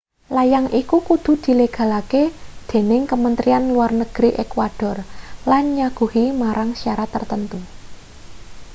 layang iki kudu dilegalake dening kementrian luar negeri ekuador lan nyaguhi marang syarat tartamtu